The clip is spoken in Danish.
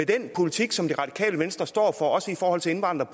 den politik som det radikale venstre står for også i forhold til indvandrere